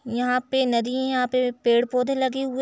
यहाँ पे नदी है पेड़ पौधे लगे हुए --